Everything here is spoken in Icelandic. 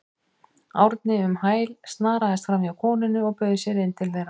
Árni um hæl, snaraðist framhjá konunni og bauð sér inn til þeirra.